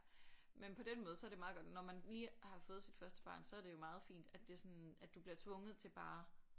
Men på den måde så er det meget godt når man lige har fået sit første barn så er det jo meget fint at det sådan at du bliver tvunget til bare